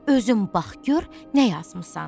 Özün bax gör nə yazmısan.